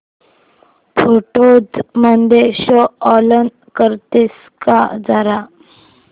photos मध्ये show all करतेस का जरा